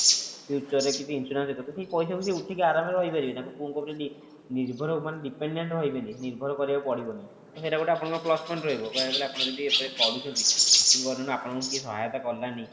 future ରେ କିଛି insurance ସେ କରିଥିବେ ସେ ପଇସା କୁ ସେ ଉଠେଇକି ଆରମ ସେ ରହିପାରିବେ ତାଙ୍କ ପୁଅଙ୍କ ଉପରେ ନିର୍ଭର ମାନେ dependent ରହିବେନି ନିର୍ଭର କରିବାକୁ ପଡିବନି ତ ସେଟା ଗୋଟେ ଆପଣଙ୍କର plus point ରହିବ କହିବାକୁ ଗଲେ ଆପଣ ଯଦି କରୁଛନ୍ତି ଆପଣଙ୍କୁ କିଏ ଯଦି ସହାୟତା କଲାନି